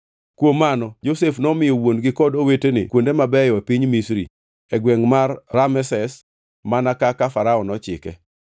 Kuom mano Josef nomiyo wuon-gi kod owetene kuonde mabeyo e piny Misri e gwengʼ mar Rameses mana kaka Farao nochike.